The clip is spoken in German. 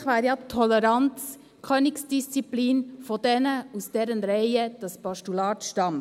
Eigentlich wäre ja Toleranz die Königsdisziplin derer, aus deren Reihen dieses Postulat stammt.